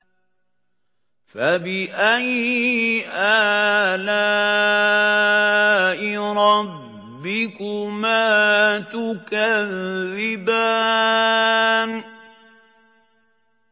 فَبِأَيِّ آلَاءِ رَبِّكُمَا تُكَذِّبَانِ